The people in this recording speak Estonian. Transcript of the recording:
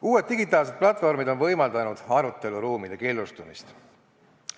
Uued digitaalsed platvormid on võimaldanud aruteluruumide killustumist.